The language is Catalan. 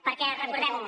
perquè recordem ho